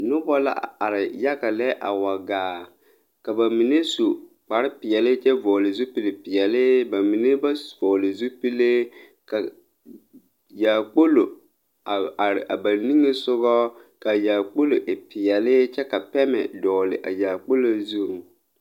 Nobɔ la a are yaga lɛ a wa gaa ka ba mine su kparepeɛle kyɛ vɔgle zupilpeɛle ba mine ba vɔgle zupile ka yaakpolo a are a ba niŋesugɔ ka yaakpolo e peɛle kyɛ ka pɛmɛ dɔɔle a yaakpolo zuŋ.